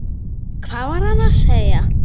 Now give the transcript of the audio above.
Hvað var hann að segja?